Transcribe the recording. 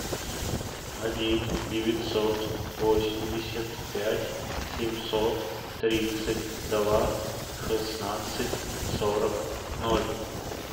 один девятьсот восемьдесят пять семьсот тридцать два шестнадцать сорок ноль